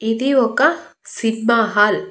ఇది ఒక cinema hall .